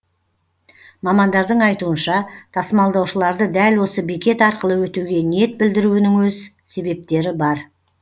мамандардың айтуынша тасымалдаушыларды дәл осы бекет арқылы өтуге ниет білдіруінің өз себептері бар